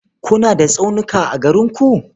Kuna da tsaunuka a garin ku?